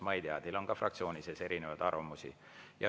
Ma ei tea, teil on ka fraktsioonis erinevaid arvamusi.